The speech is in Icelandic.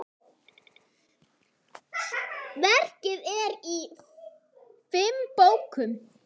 Verkið er í fimm bókum.